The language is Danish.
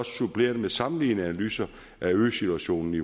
suppleret med sammenlignende analyser af situationen i